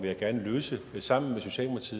jeg gerne løse sammen